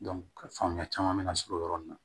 faamuya caman be na sɔrɔ o yɔrɔ nin na